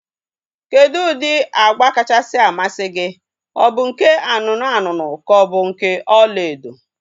Kedụ ụdị agba kachasị amasị gị? Ọ bụ nke anụnụ anụnụ ka ọ bụ nke ọlaedo?